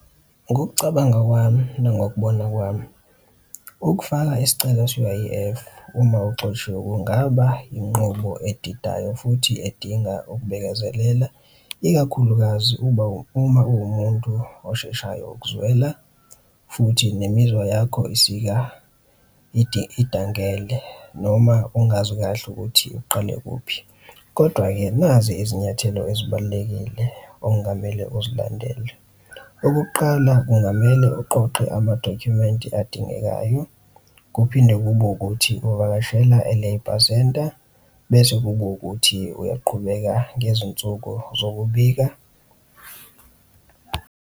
Ngokucabanga kwami nangokubona kwami, ukufaka isicelo se-U_I_F uma uxoshiwe, kungaba inqubo edidayo futhi edinga ukubekezelela, ikakhulukazi uma, uma uwumuntu osheshayo ukuzwela futhi nemizwa yakho isika idangele, noma ungazi kahle ukuthi uqale kuphi. Kodwa-ke nazi izinyathelo ezibalulekile okungamele uzilandele. Okokuqala, kungamele uqoqe amadokhumenti adingekayo, kuphinde kube ukuthi uvakashela e-labour center, bese kube ukuthi uyaqhubeka ngezinsuku zokubika.